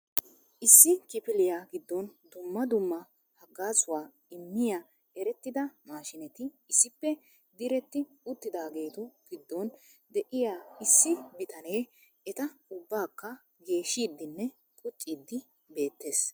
issi kifilliyaa giddon dumma dumma haggaazzuwa immiyogan erettida maashineti issippe diretti uttidaageetu giddon de'iyaa issi bitanee eta ubbakka geeshshidinne qucciidi beettees.